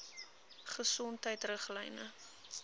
gesondheidriglyne